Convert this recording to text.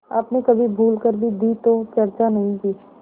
आपने कभी भूल कर भी दी तो चर्चा नहीं की